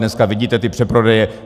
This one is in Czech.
Dneska vidíte ty přeprodeje.